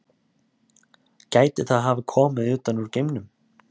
gæti það hafa komið utan úr geimnum